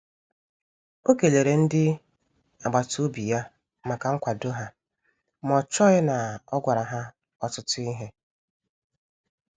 O kelere ndi agbata obi ya maka nkwado ha, ma o chọghị na o gwara ha ọtụtụ ihe.